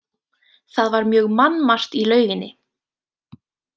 Það var mjög mannmargt í lauginni.